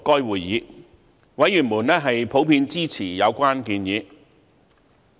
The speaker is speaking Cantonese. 委員普遍支持有關建議。